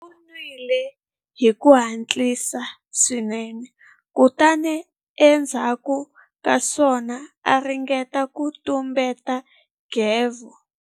U nwile hi ku hatlisa swinene kutani endzhaku ka sweswo a ringeta ku tumbeta nghevo.